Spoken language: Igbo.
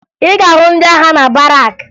Ị ga-ahụ ndị agha na barakụ